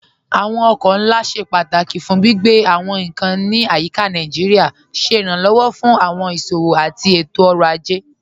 Awọn ọkọ̀ nlá ṣẹ pátákí fún gbigbe awọn nkan ní ayíká Naijíríà, ṣẹ iránlọ́wọ́ fún awọn iṣowo àti ètò-ọ̀rọ̀ ajẹ́.